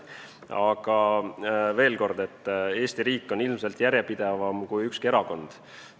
Aga veel kord: Eesti riik on ilmselt järjepidevam kui ükski erakond.